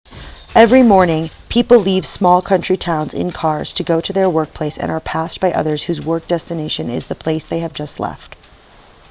every morning people leave small country towns in cars to go their workplace and are passed by others whose work destination is the place they have just left